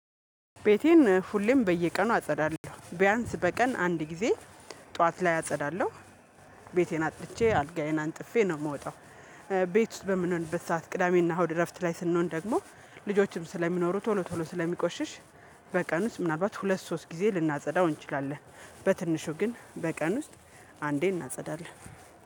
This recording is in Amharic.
ቤቴን ሁሌም በየቀኑ አጸዳለሁ ቢያንስ በቀን አንድ ጊዜ ጠዋት ላይ አጸዳለሁ ቤቴን አጽድቼ አልጋዬን አንጥፌ ነው የምወጣው ቤት ውስጥ በምንሆንበት ሰዓት ቅዳሜና እሁድ እረፍት ላይ ስንሆን ደግሞ ልጆችም ስለሚኖሩ ቶሎ ቶሎ ስለሚቆሽሽ በቀን ውስጥ ምናልባት ሁለት ሶስት ጊዜ ልናጸዳው እንችላለን በትንሹ ግን በቀን ውስጥ አንዴ እናጸዳለን።